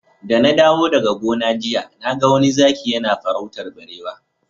Da na dawo daga gona jiya na ga wani zaki yana farautar barewa.